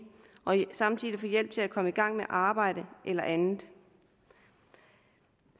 og samtidig få hjælp til at komme i gang med arbejde eller andet